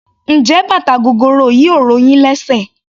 Njé bàtà gogoro yìí ò ro yín lésè?